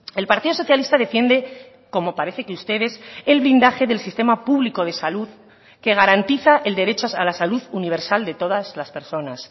el partido socialista defiende como parece que ustedes el blindaje del sistema público de salud que garantiza el derecho a la salud universal de todas las personas